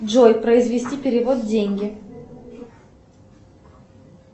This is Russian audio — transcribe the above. джой произвести перевод деньги